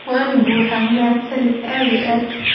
Waan buuxaa mahadsanid aad iyo aad.